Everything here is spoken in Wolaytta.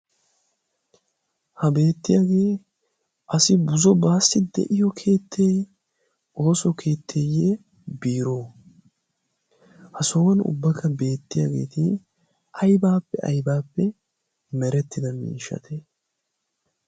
ha beettiyaagee asi buzo baassi de7iyo keette? ooso keetteeyye biro? ha sohuwan ubbakka beettiyaageeti aibaappe aibaappe merettida miishshate?